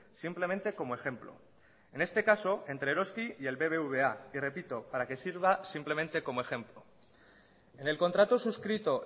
simplemente como ejemplo en este caso entre eroski y el bbva y repito para que sirva simplemente como ejemplo en el contrato suscrito